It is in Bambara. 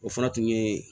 O fana tun ye